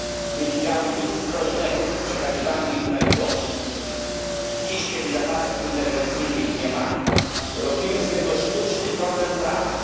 nie widziały nic zdrożnego w przekazywaniu ich najuboższym. Dziś, kiedy zapasów interwencyjnych nie ma, robimy z tego sztuczny problem prawny.